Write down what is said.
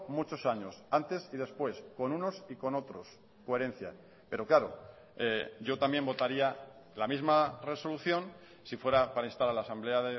muchos años antes y después con unos y con otros coherencia pero claro yo también votaría la misma resolución si fuera para instar a la asamblea